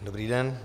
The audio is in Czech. Dobrý den.